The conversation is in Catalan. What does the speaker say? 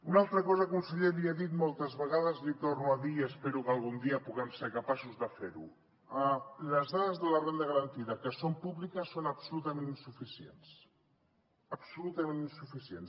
una altra cosa conseller li he dit moltes vegades li ho torno a dir i espero que algun dia puguem ser capaços de fer ho les dades de la renda garantida que són públiques són absolutament insuficients absolutament insuficients